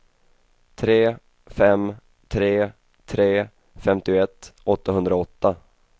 tre fem tre tre femtioett åttahundraåtta